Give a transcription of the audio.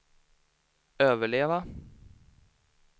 överleva